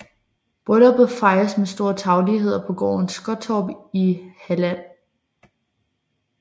Brylluppet fejredes med stor tarvelighed på gården Skottorp i Halland